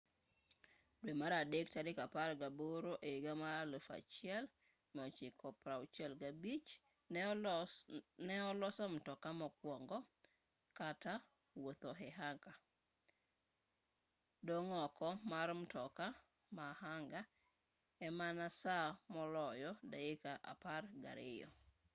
dwe mar adek tarik apar gaboro ehiga 1965 ne oloso mtoka mokuongo kata wuotho e anga dong' oko mar mtoka ma anga e mana saa moloyo dakika apar gariyo